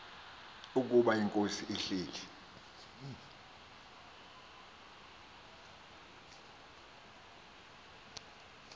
ukuba inkosi ihleli